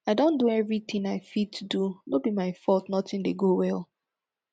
i don do everything i fit do no be my fault nothing dey go well